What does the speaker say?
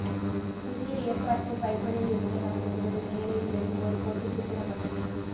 புதிய ஏற்பாட்டு பைபிளில் இருந்து நாம் பெறுவது மேரியின் வெறும் ஒரு கோட்டுச்சித்திரம் மட்டுமே